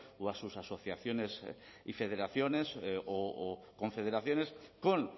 o a sus asociaciones y federaciones o confederaciones con